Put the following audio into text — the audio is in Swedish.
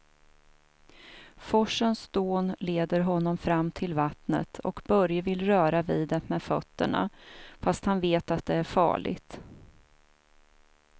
Forsens dån leder honom fram till vattnet och Börje vill röra vid det med fötterna, fast han vet att det är farligt.